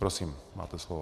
Prosím, máte slovo.